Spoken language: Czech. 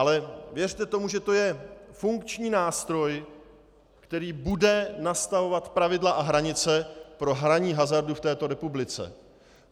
Ale věřte tomu, že to je funkční nástroj, který bude nastavovat pravidla a hranice pro hraní hazardu v této republice.